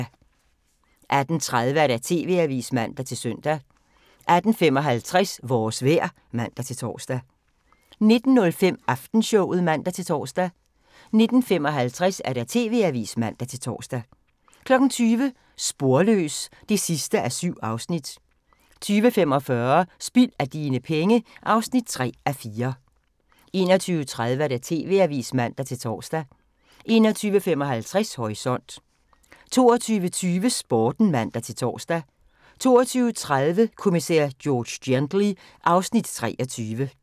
18:30: TV-avisen (man-søn) 18:55: Vores vejr (man-tor) 19:05: Aftenshowet (man-tor) 19:55: TV-avisen (man-tor) 20:00: Sporløs (7:7) 20:45: Spild af dine penge (3:4) 21:30: TV-avisen (man-tor) 21:55: Horisont 22:20: Sporten (man-tor) 22:30: Kommissær George Gently (Afs. 23)